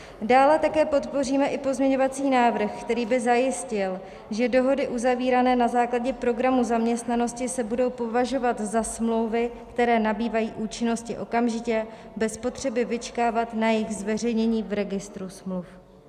Dále také podpoříme i pozměňovací návrh, který by zajistil, že dohody uzavírané na základě programu zaměstnanosti se budou považovat za smlouvy, které nabývají účinnosti okamžitě bez potřeby vyčkávat na jejich zveřejnění v registru smluv.